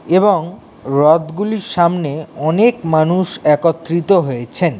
এবং রথগুলির সামনে অনেক মানুষ একত্রিত হয়েছেন।